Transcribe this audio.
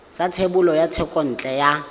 sa thebolo ya thekontle ya